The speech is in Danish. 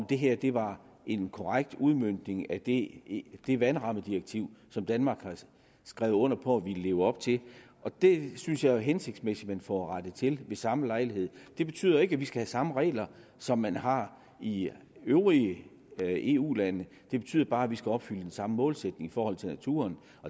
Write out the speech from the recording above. det her var en korrekt udmøntning af det vandrammedirektiv som danmark har skrevet under på at ville leve op til og det synes jeg jo er hensigtsmæssigt at man får rettet til ved samme lejlighed det betyder ikke at vi skal have samme regler som man har i de øvrige eu lande det betyder bare at vi skal opfylde den samme målsætning i forhold til naturen